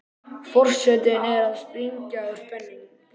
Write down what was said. Forsetinn er að springa úr spenningi.